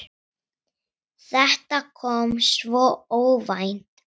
Þetta kom svo óvænt.